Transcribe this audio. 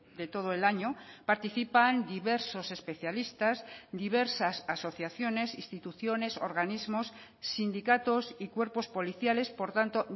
de todo el año participan diversos especialistas diversas asociaciones instituciones organismos sindicatos y cuerpos policiales por tanto